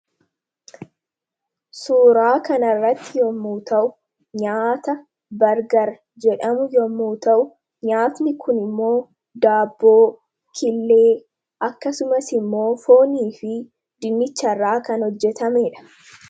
Suuraa kana irratti kan argamu nyaata Bargarii yammuu ta'uu; nyaanni kun immoo foon, daabboo fi killee irraa kan hojjetamee dha.